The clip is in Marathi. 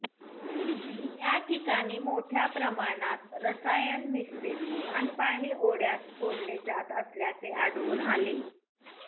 त्याठिकाणी मोठ्या प्रमाणात रसायनमिश्रित सांडपाणी ओढ्यात सोडले जात असल्याचे आढळून आले